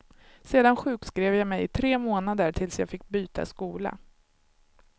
Sedan sjukskrev jag mig i tre månader tills jag fick byta skola.